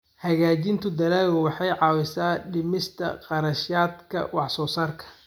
Hagaajinta dalaggu waxay caawisaa dhimista kharashaadka wax-soo-saarka.